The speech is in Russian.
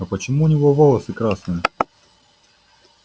но почему у него волосы красные